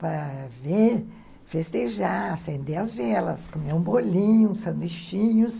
para ver, festejar, acender as velas, comer um bolinho, um sanduichinhos.